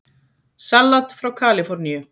Salat frá Kaliforníu